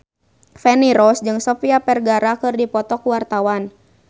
Feni Rose jeung Sofia Vergara keur dipoto ku wartawan